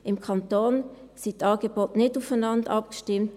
Im Kanton sind die Angebote nicht aufeinander abgestimmt.